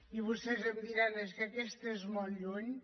i vostès em deuran dir és que aquesta és molt lluny